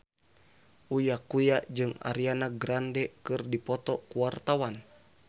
Uya Kuya jeung Ariana Grande keur dipoto ku wartawan